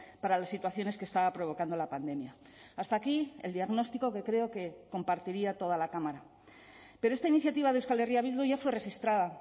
para las situaciones que estaba provocando la pandemia hasta aquí el diagnóstico que creo que compartiría toda la cámara pero esta iniciativa de euskal herria bildu ya fue registrada